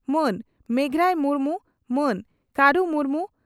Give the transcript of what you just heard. ᱢᱟᱹᱱ ᱢᱮᱜᱷᱨᱟᱭ ᱢᱩᱨᱢᱩ ᱢᱟᱱ ᱠᱟᱹᱨᱩ ᱢᱩᱨᱢᱩ